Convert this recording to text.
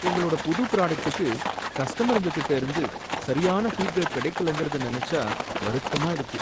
எங்களோட புது ப்ராடக்டுக்கு கஸ்டமருங்ககிட்டருந்து சரியான ஃபீட்பேக் கிடைக்கலங்கறத நெனச்சா வருத்தமா இருக்கு.